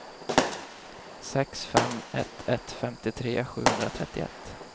sex fem ett ett femtiotre sjuhundratrettioett